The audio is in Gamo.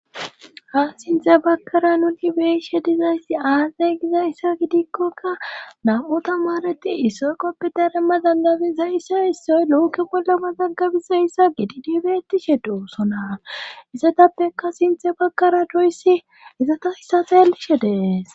Ha sinte bagkara nunibeishe dizayssi aazay giza issa gidikkokka nam7u ta maareti issoy qoppi darema dandabisa issa issoy looke wolama zaggabisa issa gidi dibetishe doossona isetappeka sinthe bakara doyssi izata issafeelishe dees.